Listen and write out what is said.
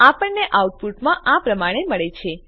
આપણને આઉટપુટ આ પ્રમાણે મળે છે